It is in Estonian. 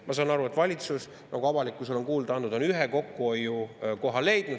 Ma saan aru, et valitsus, nagu avalikkusele on kuulda antud, on ühe kokkuhoiukoha leidnud.